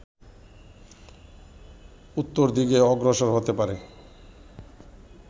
উত্তর দিকে অগ্রসর হতে পারে